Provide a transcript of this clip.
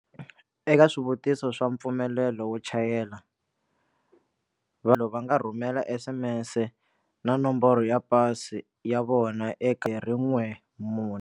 Eka swivutiso swa mpfumelelo wo chayela, vanhu va nga rhumela SMS na Nomboro ya Pasi ya vona eka 14.